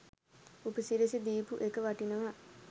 උපසිරැසි දීපු එක වටිනවා.